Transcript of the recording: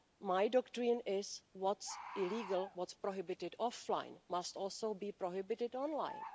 My doctrine is what's illegal, what's prohibited offline must also be prohibited online.